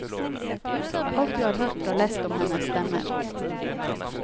Alt vi har hørt og lest om henne stemmer.